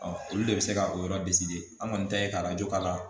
olu de bɛ se ka o yɔrɔ an kɔni ta ye ka k'a la